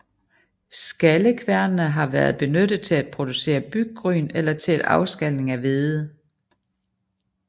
Skallekværnene har været benyttet til at producere byggryn eller til afskalning af hvede